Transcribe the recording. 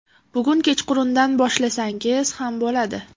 Bugun kechqurundan boshlasangiz ham bo‘ladi.